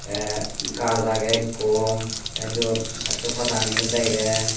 tey gaj agey ekko tey syot gasso padaganiyo degey.